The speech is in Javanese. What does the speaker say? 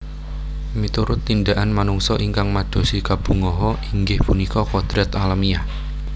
Miturut tindakan manungsa ingkang madosi kabungaha inggih punika kodrat alamiah